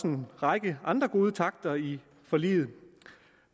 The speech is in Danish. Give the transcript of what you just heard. en række andre gode takter i forliget